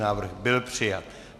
Návrh byl přijat.